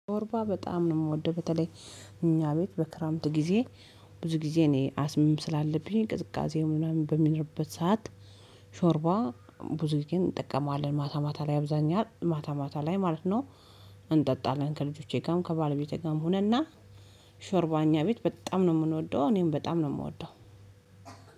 ሾርባ በጣም ነው ምወደው። በተለይ እኛ ቤት በክረምት ጊዜ ብዙ ጊዜ እኔ አስምም ስላለብኝ ቅዝቃዜውን ምናምን በሚኖርበት ሰዓት። ሾርባ ብዙ ጊዜ እንጠቀማለን ማታ ማታ ላይ አብዛኛ ማታ ማታ ላይ ማለት ነው። እንጠጣለን ከልጆቼ ጋር ከባለቤቴ ጋር ሆነንና። ሾርባ እኛ ቤት በጣም ነው ምንወደው እኔም በጣም ነው ምወደው።